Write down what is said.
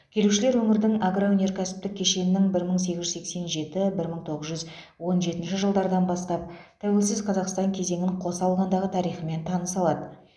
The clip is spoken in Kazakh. келушілер өңірдің агроөнеркәсіптік кешенінің бір мың сегіз жүз сексен жеті бір мың тоғыз жүз он жетінші жылдардан бастап тәуелсіз қазақстан кезеңін қоса алғандағы тарихымен таныса алады